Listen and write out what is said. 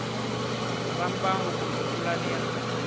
va mbangu kumbe pulani ya